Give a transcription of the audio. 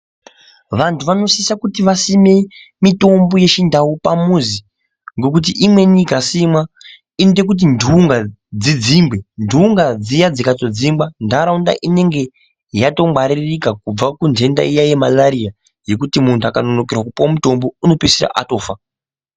Vantu vanosisa kuti vasime mitombo yechindau pamuzi. Ngokuti imweni ikasimwa inoite kuti ndunga dzidzingwe. Ndunga dziya dzikadzingwa ntaraunta inenge yatongwaririka kubva kundenda iya yemarariya yekuti muntu akanonokerwa kupuwe mutombo unopedzisira atofa.